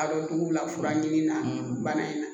A dɔ jugu la fura ɲimi bana in na